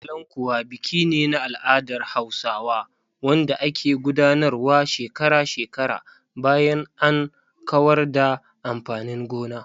"Kalankuwa" biki ne na al'adar Hausawa wanda ake gudanarwa shekara-shekara bayan an kawar da amfanin gona.